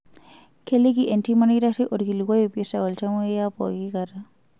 Keliki entiim olkitarri olkilikuai oipirta oltamoyiapooki kata.